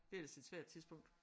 Det er ellers et svært tidspunkt